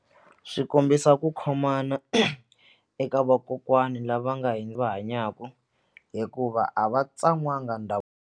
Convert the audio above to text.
Swi kombisa ku khomana eka vakokwani lava nga va hanyaka hikuva a va tsan'wanga .